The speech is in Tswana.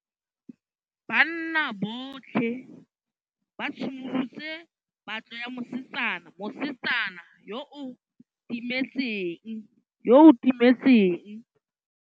Banna botlhê ba simolotse patlô ya mosetsana yo o timetseng.